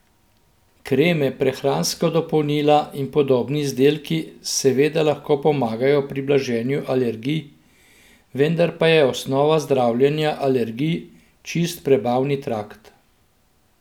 Kreme, prehranska dopolnila in podobni izdelki seveda lahko pomagajo pri blaženju alergij, vendar pa je osnova zdravljenja alergij čist prebavni trakt!